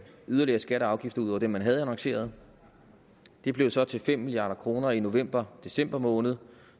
yderligere skatter og afgifter ud over dem man havde annonceret det blev så til fem milliard kroner i november december måned